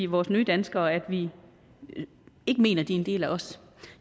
vores nye danskere at vi ikke mener at de er en del af os